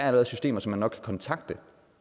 er systemer som man nok kan kontakte